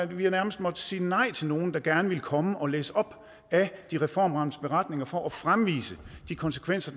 vi har nærmest måttet sige nej til nogle der gerne ville komme og læse op af de reformramtes beretninger for at fremvise de konsekvenser